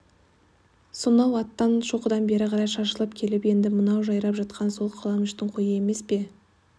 сонау аттан шоқыдан бері қарай шашылып келіп енді мынау жайрап жатқан сол қаламүштің қойы емес пе